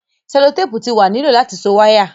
selotepu ti wa ni lo lati so waya